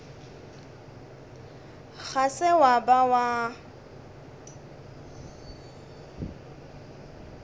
ga se wa ba wa